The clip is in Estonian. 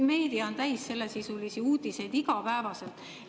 Meedia on täis sellesisulisi uudiseid igapäevaselt.